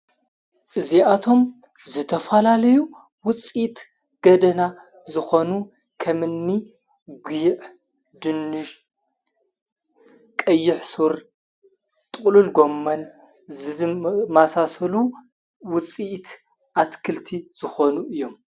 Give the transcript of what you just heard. እዙኣቶም ዘተፋላለዩ ውፂት ገደና ዝኾኑ ኸምኒ ጕዕ ፣ድንሽ፣ ቀይሕሡር ፣ጥሉል ጎመን ማሣሰሉ ውፂእቲ ኣትክልቲ ዝኾኑ እዮም።